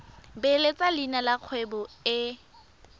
beeletsa leina la kgwebo e